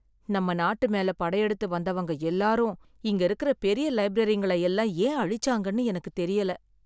நம்ம நாட்டு மேல படையெடுத்து வந்தவங்க எல்லாரும், இங்க இருக்கற பெரிய லைப்ரரிங்களை எல்லாம் ஏன் அழிச்சாங்கனு எனக்குத் தெரியல.